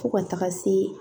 Fo ka taga se